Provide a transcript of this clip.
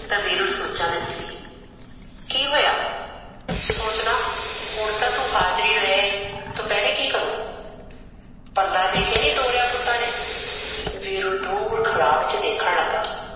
ਤਾ ਵੀਰੂ ਸੋਚਾ ਵਿਚ ਸੀ ਕੀ ਹੋਇਆ ਸੋਚਦਾ ਹੁਣ ਤਾ ਤੂ ਹਾਜਰੀ ਲੈ ਆਈ ਦੁਪਹਰੇ ਕਿਆ ਕਰੁ ਪਲਾਂ ਦੇ ਕੇ ਨਈ ਤੋਰਾ ਪੁਤਾ ਨੇ ਵੀਰੂ ਦੁਰ ਖੜਾ ਵਿਚ ਦੇਖਣ ਲਗਾ